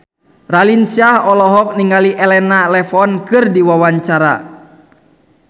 Raline Shah olohok ningali Elena Levon keur diwawancara